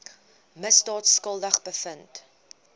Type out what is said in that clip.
misdaad skuldig bevind